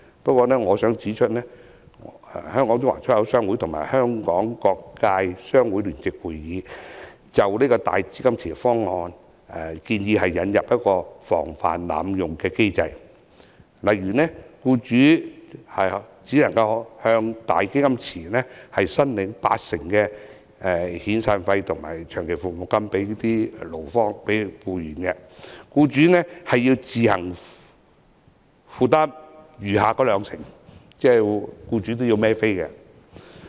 不過我想指出，香港中華出入口商會及香港各界商會聯席會議，均就"大基金池"方案建議引入防範機制，例如僱主只能向"大基金池"申領八成的遣散費和長期服務金給僱員，僱主需要自行負擔餘下的兩成，即僱主也要支付金錢。